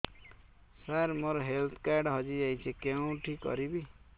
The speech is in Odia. ସାର ମୋର ହେଲ୍ଥ କାର୍ଡ ହଜି ଯାଇଛି କେଉଁଠି କରିବି